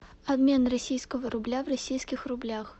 обмен российского рубля в российских рублях